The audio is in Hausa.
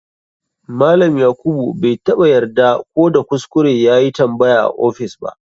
Malam yakuba bai taba yarda ko da kuskure yayi tambaya a office ba.